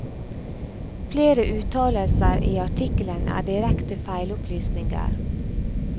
Flere uttalelser i artikkelen er direkte feilopplysninger.